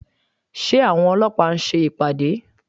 Ṣé àwọn ọlọ́pàá ń ṣe ìpàdé?